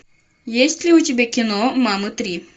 есть ли у тебя кино мамы три